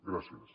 gràcies